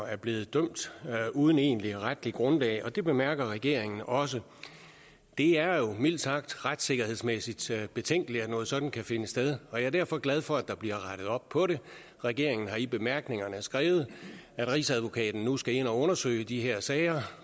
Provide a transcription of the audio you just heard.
er blevet dømt uden egentligt retligt grundlag og det bemærker regeringen også det er jo mildt sagt retssikkerhedsmæssigt betænkeligt at noget sådant kan finde sted og jeg er derfor glad for at der bliver rettet op på det regeringen har i bemærkningerne skrevet at rigsadvokaten nu skal ind og undersøge de her sager